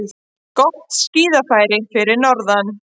Gott skíðafæri fyrir norðan